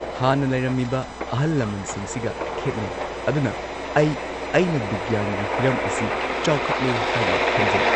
ꯍꯥꯟꯅ ꯂꯩꯔꯝꯃꯤꯕ ꯑꯍꯜ ꯂꯃꯟꯁꯤꯡꯁꯤꯒ ꯈꯦꯠꯅꯩ ꯑꯗꯨꯅ ꯑꯩ ꯑꯩꯅ ꯕꯤꯒ꯭ꯌꯥꯟꯒꯤ ꯍꯤꯔꯝ ꯑꯁꯤ ꯆꯥꯎꯈꯠꯂꯦ ꯍꯥꯏꯅ ꯈꯟꯖꯩ꯫